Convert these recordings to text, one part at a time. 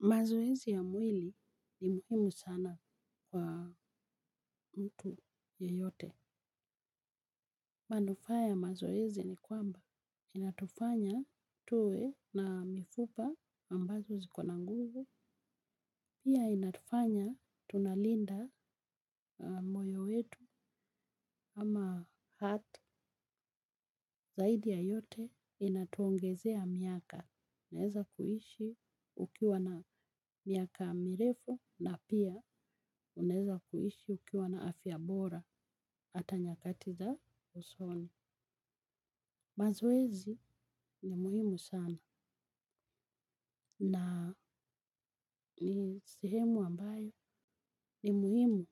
Mazoezi ya mwili ni muhimu sana kwa mtu yeyote. Manufaa mazoezi ni kwamba. Inatufanya tuwe na mifupa ambazo ziko na nguvu. Pia inatufanya tunalinda moyo wetu ama hata. Zaidi ya yote inatuongezea miaka. Unaweza kuishi ukiwa na miaka mirefu na pia unaweza kuishi ukiwa na afya bora. Hata nyakati za usoni. Mazoezi ni muhimu sana. Na ni sehemu ambayo ni muhimu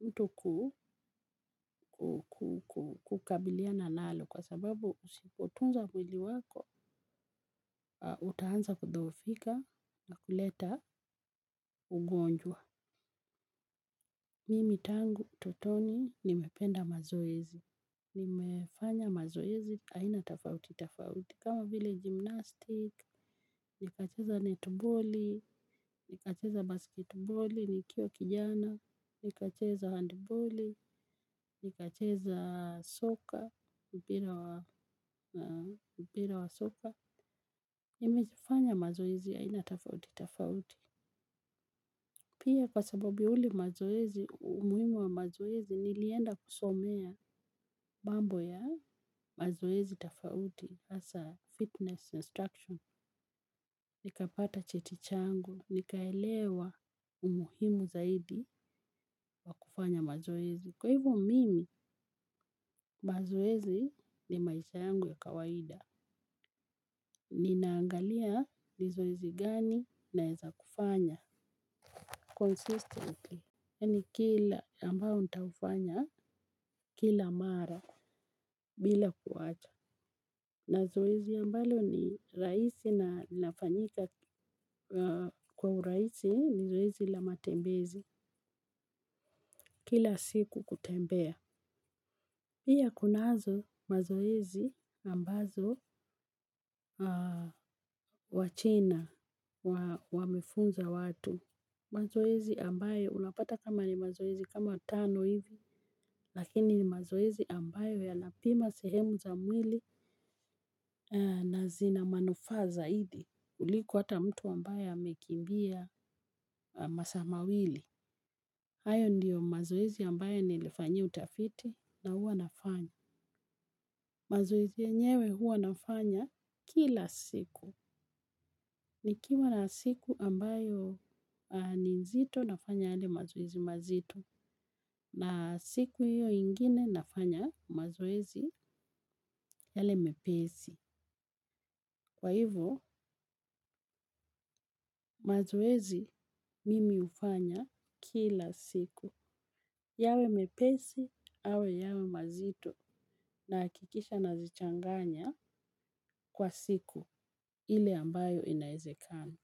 mtu ku kukabiliana nalo kwa sababu usipotunza mwili wako. Utaanza kudhoofika na kuleta ugonjwa. Mimi tangu utotoni nimependa mazoezi. Nimefanya mazoezi aina tafauti tafauti. Kama vile gymnastick, nikacheza netball, nikacheza basketball, nikiwa kijana, nikacheza handball, nikacheza soka, mpira wa soka. Nimejifanya mazoezi ya aina tafauti, tafauti. Pia kwa sababu ya ule mazoezi, umuhimu wa mazoezi, nilienda kusomea mambo ya mazoezi tafauti as a fitness instruction. Nikapata cheti changu, nikaelewa umuhimu zaidi wa kufanya mazoezi. Kwa hivyo mimi, mazoezi ni maisha yangu ya kawaida. Ninaangalia ni zoezi gani naweza kufanya consistently. Yani kila ambayo nitaufanya kila mara bila kuacha. Na zoezi ambalo ni rahisi na linafanyika kwa urahisi ni zoezi la matembezi kila siku kutembea. Pia kunazo mazoezi ambazo wachina wamefunza watu. Mazoezi ambayo unapata kama ni mazoezi kama tano hivi lakini ni mazoezi ambayo yanapima sehemu za mwili na zina manufaa zaidi kuliko hata mtu ambayo amekimbia masaa mawili. Hayo ndiyo mazoezi ambayo nilifanyia utafiti na huwa nafanya. Mazoezi yenyewe huwa nafanya kila siku. Nikiwa na siku ambayo ni nzito nafanya yale mazoezi mazito. Na siku hiyo ingine nafanya mazoezi yale mepesi. Kwa hivyo mazoezi mimi hufanya kila siku. Yawe mepesi, au yawe mazito na nahakikisha nazichanganya kwa siku ile ambayo inawezekani.